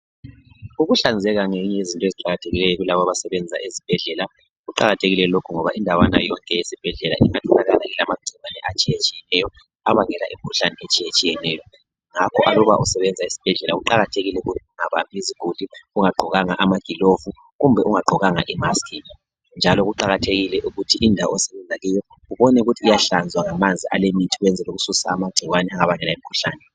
Ukuhlanzeka ngenye yezinto eziqakathekileyo kulabo abasebenza ezibhedlela. Kuqakathekile lokhu ngoba indawana yonke yesibhedlela ingaba ilamagcikwane atshiyetshiyeneyo. Abangela imikhuhlane etshiyetshiyeneyo. Ngakho aluba usebenza esibhedlela, kuqakathekile ukuthi ungabambi iziguli ungagqokanga amagilovu, kumbe ungagqokanga imask. Ngakho kuqakathekile ukuthi indawo osebenza kuyo, ubone ukuthi iyahlanzwa ngemithi, ukwenzela ukususa amagcikwane. Angabangela imikhuhlane.